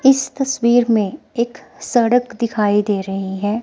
इस तस्वीर में एक सड़क दिखाई दे रही है।